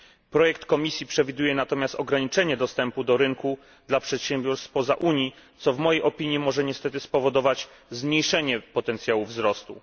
Projekt Komisji przewiduje natomiast ograniczenie dostępu do rynku dla przedsiębiorstw spoza Unii, co w mojej opinii może niestety spowodować zmniejszenie potencjału wzrostu.